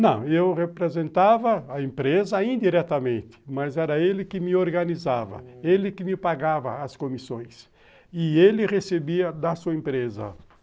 Não, eu representava a empresa indiretamente, mas era ele que me organizava, ele que me pagava as comissões e ele recebia da sua empresa.